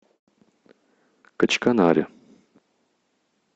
качканаре